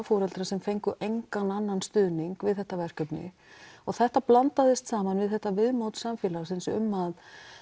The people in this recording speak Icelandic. foreldrar sem fengu engan annan stuðning við þetta verkefni og þetta blandaðist saman við þetta viðmót samfélagsins um að